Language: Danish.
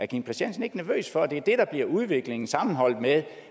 kim christiansen ikke nervøs for at det er det der bliver udviklingen sammenholdt med